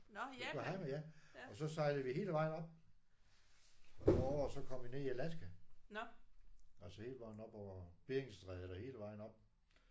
Yokohama ja. Og så sejlede vi hele vejen op over og så kom vi ned i Alaska. Altså hele vejen op over Beringstrædet og hele vejen op